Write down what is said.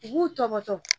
U b'u tɔmɔ tɔmɔ